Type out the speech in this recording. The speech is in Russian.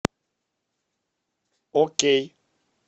окей